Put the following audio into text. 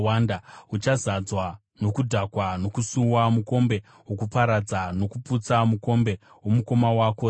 Uchazadzwa nokudhakwa nokusuwa, mukombe wokuparadza nokuputsa, mukombe womukoma wako Samaria.